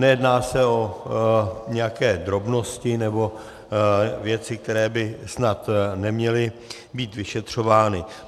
Nejedná se o nějaké drobnosti nebo věci, které by snad neměly být vyšetřovány.